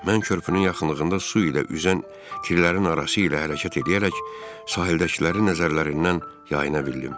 Mən körpünün yaxınlığında su ilə üzən killərin arası ilə hərəkət eləyərək sahildəkilərin nəzərlərindən yayına bildim.